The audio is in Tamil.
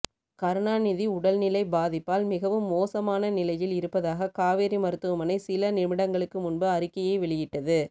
கருணாநிதி உடல்நிலை பாதிப்பால் மிகவும் மோசமான நிலையில் இருப்பதாக காவேரி மருத்துவமனை சில நிமிடங்களுக்கு முன்பு அறிக்கையை வெளியிட்டது